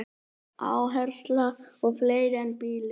Áhersla á fleira en bílinn